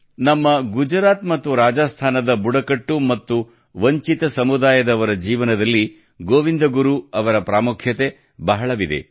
ನಮ್ಮ ಗುಜರಾತ್ ಮತ್ತು ರಾಜಸ್ತಾನದ ಬುಡಕಟ್ಟು ಮತ್ತು ವಂಚಿತ ಸಮುದಾಯದವರ ಜೀವನದಲ್ಲಿ ಗೋವಿಂದ ಗುರು ಅವರ ಪ್ರಾಮುಖ್ಯತೆ ಬಹಳವಿದೆ